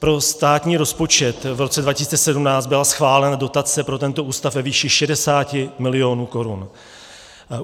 Pro státní rozpočet v roce 2017 byla schválena dotace pro tento ústav ve výši 60 milionů korun.